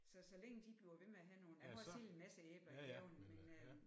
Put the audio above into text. Så så længe de bliver ved med at have nogle ja nu har jeg selv en masse æbler i haven men øh